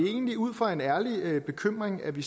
egentlig ud fra en ærlig bekymring at vi